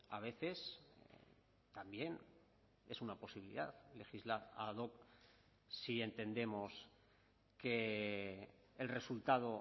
a veces también es una posibilidad legislar ad hoc si entendemos que el resultado